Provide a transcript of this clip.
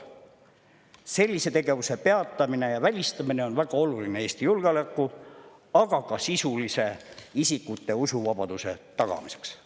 Sellise tegevuse peatamine ja välistamine on väga oluline Eesti julgeoleku, aga ka isikute sisulise usuvabaduse tagamiseks.